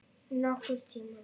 Nokkurn tímann.